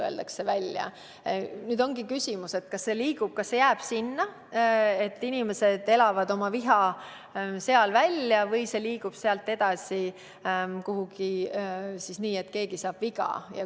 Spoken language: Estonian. Küsimus on selles, kas olukord jääb selliseks, et inimesed elavad oma viha välja kommentaariumis, või liigutakse sealt kuhugi edasi, nii et keegi saab viga.